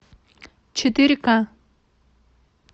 четыре ка